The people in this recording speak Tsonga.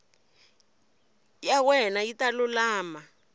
ya wena yi ta lulama